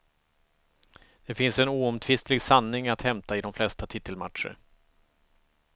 Det finns en oomtvistlig sanning att hämta i de flesta titelmatcher.